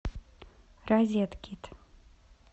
розеткид